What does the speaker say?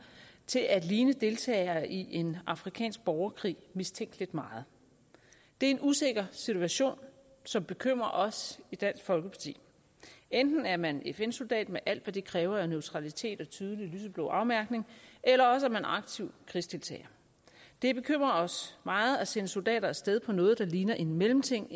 til at ligne deltagere i en afrikansk borgerkrig mistænkeligt meget det er en usikker situation som bekymrer os i dansk folkeparti enten er man fn soldat med alt hvad det kræver af neutralitet og tydelig lyseblå afmærkning eller også er man aktiv krigsdeltager det bekymrer os meget at sende soldater af sted på noget der ligner en mellemting